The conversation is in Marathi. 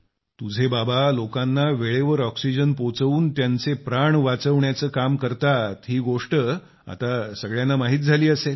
तुझे बाबा लोकांना वेळेवर ऑक्सिजन पोहोचवून त्यांचे प्राण वाचविण्याचे काम करतात ही गोष्ट आता सगळ्यांना माहित झाली असेल